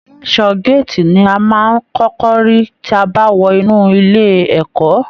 Ẹlẹṣọ gàátí ní a máa n kọkọ rí tí a bá wọ inú ilé ẹ̀kọ́.